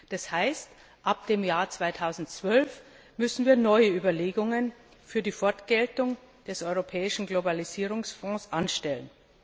Das heißt, ab dem Jahr 2012 müssen wir neue Überlegungen für die Fortgeltung des Europäischen Globalisierungsfonds anstellen.